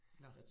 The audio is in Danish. Nåh